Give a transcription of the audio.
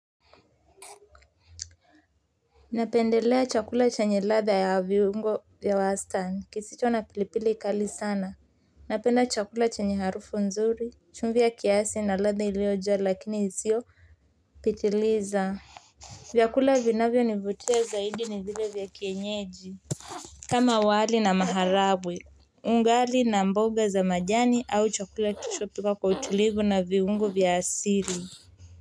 Napendelea chakula chenye ladha ya viungo ya wastani kisicho na pilipili kali sana napenda chakula chenye harufu nzuri chumvi ya kiasi na ladha ilio jaa lakini isio pitiliza vyakula vinavyo nivutia zaidi ni zile vya kienyeji kama wali na maharagwe ugali na mboga za majani au chakula kilichopikwa kwa utulivu na viungo vya asili.